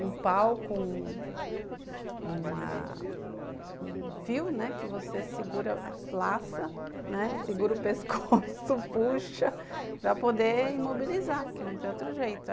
um pau com um uma um fio, né, que você segura, laça, segura o pescoço, puxa para poder imobilizar, que não tem outro jeito.